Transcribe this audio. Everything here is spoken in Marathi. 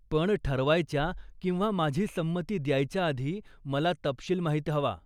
पण ठरवायच्या किंवा माझी संमती द्यायच्या आधी मला तपशील माहीत हवा.